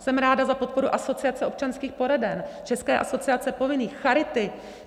Jsem ráda za podporu Asociace občanských poraden, České asociace povinných, charity.